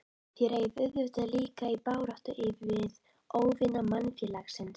Þér eigið auðvitað líka í baráttu við óvini mannfélagsins?